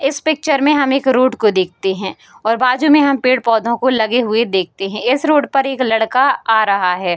इस पिक्चर में हम एक रोड को देखते हैं और बाजु में हम पेड़-पौधों को लगे हुए देखते हैं। इस रोड पर एक लड़का आ रहा है।